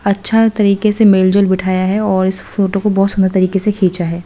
अच्छा तरीके से मेलजोल बिठाया है और इस फोटो को बहुत सुंदर तरीके से खींचा है।